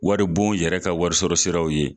Waribon yɛrɛ ka wari sɔrɔ siraw ye